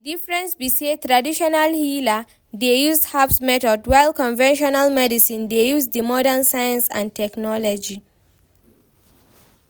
Di difference be say traditional healer dey use herbs methods while conventional medicine dey use di modern science and technology.